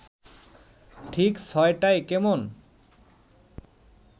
ঠিক ছ’টায় কেমন